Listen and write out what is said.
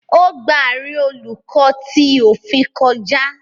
O gbà àárín Oluko tí òfin kọjá